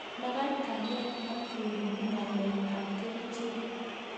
Magat kanyaet ak kerip ng'alek ab kerichek